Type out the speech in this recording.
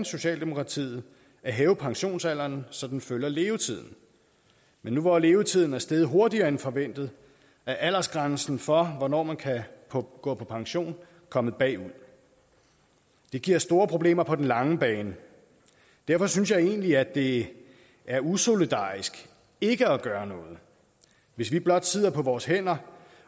socialdemokratiet at hæve pensionsalderen så den følger levetiden men nu hvor levetiden er steget hurtigere end forventet er aldersgrænsen for hvornår man kan gå på pension kommet bagud det giver store problemer på den lange bane derfor synes jeg egentlig at det er usolidarisk ikke at gøre noget hvis vi blot sidder på vores hænder